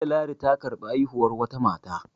Jiya ladi ta karɓi haihuwar wata mata